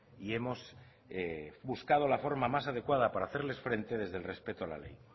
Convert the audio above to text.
y hemos buscado la forma más adecuada para hacerles frente desde el respeto a la ley